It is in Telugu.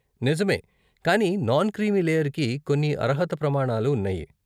నిజమే! కానీ నాన్ క్రీమీ లేయర్కి కొన్ని అర్హత ప్రమాణాలు ఉన్నాయి.